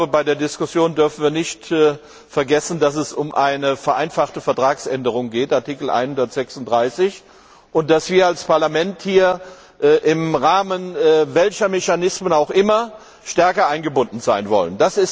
Bei der Diskussion dürfen wir nicht vergessen, dass es um eine vereinfachte Vertragsänderung gemäß Artikel 136 geht und dass wir als Parlament im Rahmen welcher Mechanismen auch immer stärker eingebunden sein wollen.